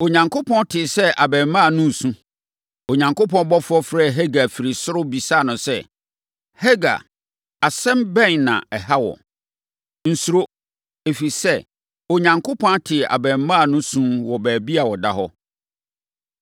Onyankopɔn tee sɛ abarimaa no resu. Onyankopɔn ɔbɔfoɔ frɛɛ Hagar firi soro bisaa no sɛ, “Hagar! Asɛm bɛn na ɛha wo? Nsuro, ɛfiri sɛ, Onyankopɔn ate abarimaa no su wɔ baabi a ɔda no.